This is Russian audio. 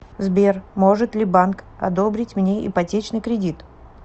сбер может ли банк одобрить мне ипотечный кредит